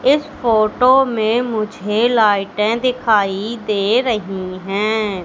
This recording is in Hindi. इस फोटो में मुझे लाइटें दिखाई दे रही हैं।